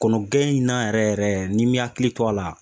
Kɔnɔgɛn in na yɛrɛ yɛrɛ n'i mi hakili to a la